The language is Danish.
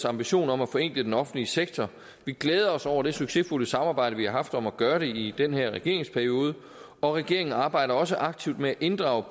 ambition om at forenkle den offentlige sektor vi glæder os over det succesfulde samarbejde vi har haft om at gøre det i den her regeringsperiode og regeringen arbejder også aktivt med at inddrage